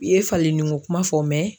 U ye falenni ko kuma fɔ